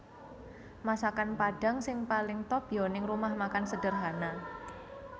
Masakan Padang sing paling top yo ning Rumah Makan Sederhana